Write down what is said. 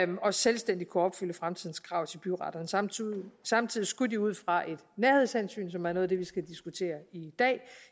og selvstændigt kunne opfylde fremtidens krav til byretterne samtidig samtidig skulle de ud fra et nærhedshensyn som er noget af det vi skal diskutere i dag